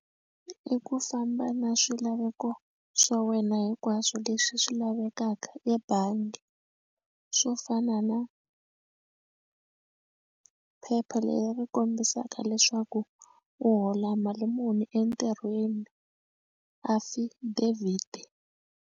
I ku famba na swilaveko swa wena hinkwaswo leswi swi lavekaka ebangi swo fana na phepha leri kombisaka leswaku u hola mali muni entirhweni affidavit.